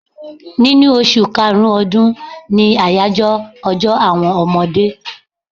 Ninu oṣù karùn-ún ọdún ni àyájọ́ ọjọ́ àwọn ọmọdé.